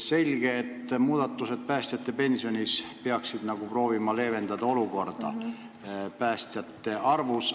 Selge, et muudatused päästjate pensionis peaksid leevendama päästjate puuduse probleemi.